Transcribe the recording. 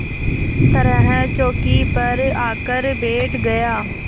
तरह चौकी पर आकर बैठ गया